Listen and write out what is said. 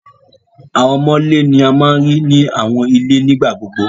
Awọn Ọmọ'ńlè ni à máa ń ríì ní awọn ilẹ̀ nígbàgbogbo